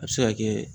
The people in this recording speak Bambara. A bɛ se ka kɛ